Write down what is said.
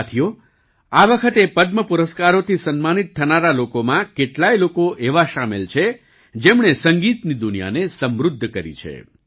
સાથીઓ આ વખતે પદ્મ પુરસ્કારોથી સન્માનિત થનારા લોકોમાં કેટલાય લોકો એવા સામેલ છે જેમણે સંગીતની દુનિયાને સમૃદ્ધ કરી છે